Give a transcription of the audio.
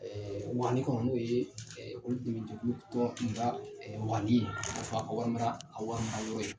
Waani kɔnɔ n'o ye olu dɛmɛ jɛkulu tɔgɔ kun ka waani ye. A bɛn'a fɔ a ka wari wari mara yɔrɔ ye